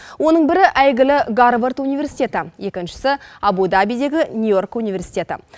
оның бірі әйгілі гарвард университеті екіншісі абу дабидегі нью йорк университеті